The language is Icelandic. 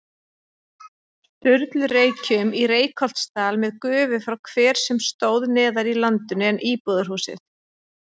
Sturlureykjum í Reykholtsdal með gufu frá hver sem stóð neðar í landinu en íbúðarhúsið.